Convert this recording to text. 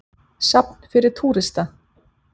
Safn fyrir túrista.